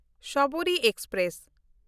Sabari express